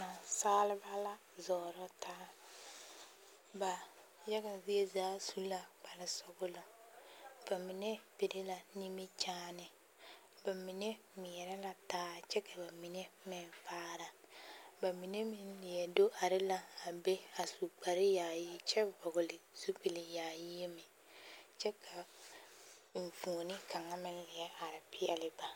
Naasaalba la zɔɔrɔ taa ba yaga zie zaa su la kparresɔglɔ ba mine piri la nimikyaane ba mine ŋmeɛrɛ la taa kyɛ ka bamine meŋ faara bamine meŋ leɛ do are la a a be kyɛ su kparre yaayi kyɛ vɔgli zupil yaayi meŋ kyɛ ka eŋfuoni kaŋa meŋ leɛ are peɛli ba.